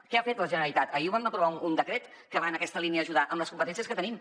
què ha fet la generalitat ahir vam aprovar un decret que va en aquesta línia d’ajudar amb les competències que tenim